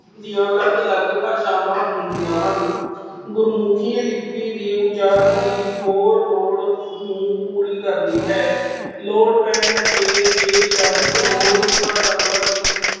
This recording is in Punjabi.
ਦੀਆਂ ਅਲੱਗ ਅਲੱਗ ਭਾਸ਼ਾਵਾਂ ਹੁੰਦੀਆਂ ਹਨ। ਗੁਰਮੁਖੀ ਲਿੱਪੀ ਦੇ ਉਚਾਰਨ ਦੀ ਹੋਰ ਲੋੜ ਨੂੰ ਪੂਰੀ ਕਰਦੀ ਹੈ। ਲੋੜ ਪੈਣ ਤੇ ਜੇ ਸ਼ਬਦ ਹੋਰ ਭਾਸ਼ਾਵਾਂ ਦੀ